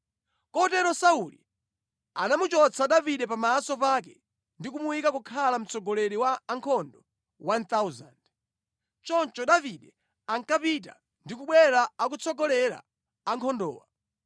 Kotero Sauli anamuchotsa Davide pamaso pake ndi kumuyika kukhala mtsogoleri wa ankhondo 1,000. Choncho Davide ankapita ndi kubwera akutsogolera ankhondowa.